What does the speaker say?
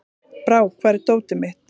Brák, hvar er dótið mitt?